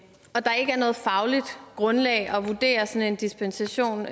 er noget fagligt grundlag at vurdere sådan en dispensation